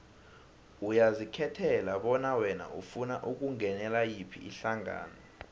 uyazikhethela bona wena ufuna ukungenela yiphi ihlangano